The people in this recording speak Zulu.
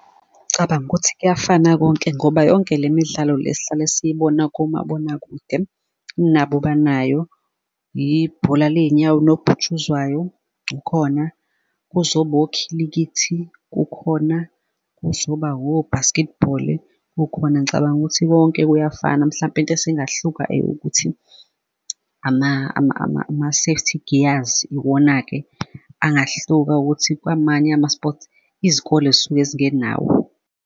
Cabanga ukuthi kuyafana konke ngoba yonke le midlalo le sihlale siyibona komabonakude nabo banayo ibhola ley'nyawo unobhutshuzwayo ukhona, kuzoba okhilikithi kukhona, kuzoba o-basketball-i kukhona ngicabanga ukuthi konke kuyafana mhlampe into esingahluka eyokuthi ama-safety gears, iwona-ke angahluka ukuthi kwamanye ama sports izikole zisuke zingenawo.